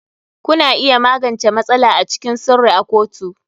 Kuna iya magance matsala a cikin sirri a kotu.